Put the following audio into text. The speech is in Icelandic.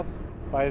bæði